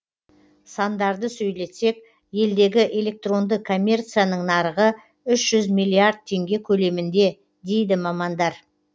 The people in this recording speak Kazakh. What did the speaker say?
сандарды сөйлетсек елдегі электронды коммерцияның нарығы үш жүз миллиард теңге көлемінде дейді мамандар